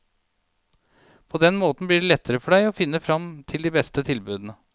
På den måten blir det lettere for deg å finne frem til de beste tilbudene.